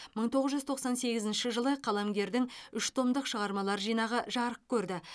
мың тоғыз жүз тоқсан сегізінші жылы қаламгердің үш томдық шығармалар жинағы жарық көрді